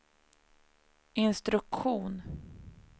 instruktion